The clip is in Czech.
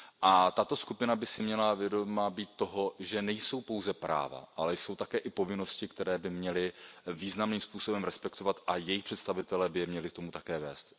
A tato skupina by si měla být vědoma toho, že nejsou pouze práva, ale jsou také i povinnosti, které by měli významným způsobem respektovat a jejich představitelé by je měli k tomu také vést.